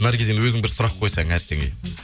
наргиз енді өзің бір сұрақ қойсаң әрсенге